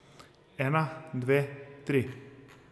Ena, dve, tri.